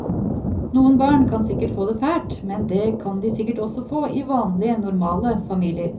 Noen barn kan sikkert få det fælt, men det kan de sikkert også få i vanlige, normale familier.